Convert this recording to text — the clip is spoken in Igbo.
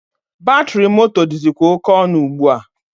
Batịrị moto dịzịkwa oke ọnụ ugbua.